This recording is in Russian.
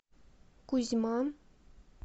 кузьма